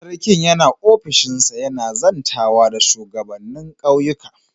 Sarkin yana ofishinsa yana zantawa da shugabanin ƙauyuka.